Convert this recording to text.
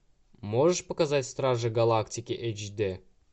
можешь показать стражи галактики эйч дэ